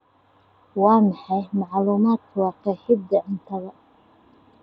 Waa maxay macluumaadka waa qeexida cuntada